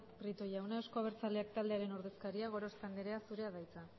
prieto jauna euzko abertzaleak taldearen ordezkaria gorospe anderea zurea ad hitza